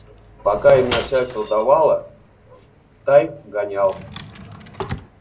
пока им начальство давало в тай гонял